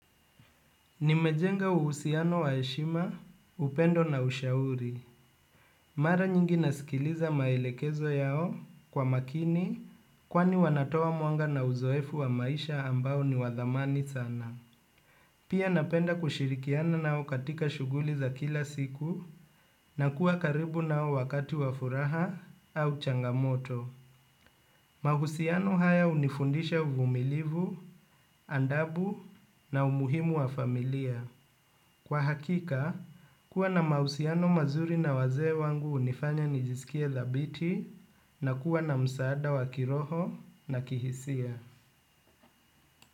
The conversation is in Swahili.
Nimejenga uhusiano wa heshima upendo na ushauri. Mara nyingi nasikiliza maelekezo yao kwa makini kwani wanatoa mwanga na uzoefu wa maisha ambao ni wa dhamani sana. Pia napenda kushirikiana nao katika shughuli za kila siku na kuwa karibu nao wakati wa furaha au changamoto. Mahusiano haya hunifundisha uvumilivu, adabu na umuhimu wa familia. Kwa hakika, kuwa na mahusiano mazuri na wazee wangu hunifanya nijisikie thabiti na kuwa na msaada wa kiroho na kihisia.